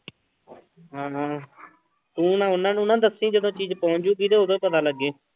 ਹਾਂ ਤੂੰ ਨਾ ਉਹਨਾਂ ਨੂੰ ਨਾ ਦੱਸੀ ਜਦੋਂ ਚੀਜ਼ ਪਹੁੰਚ ਜਾਊਗੀ ਤੇ ਉਦੋਂ ਪਤਾ ਲੱਗੇ।